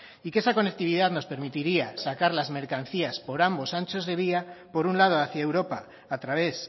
y que esa conectividad nos permitiría sacar las mercancías por ambos anchos de vía por un lado hacia europa a través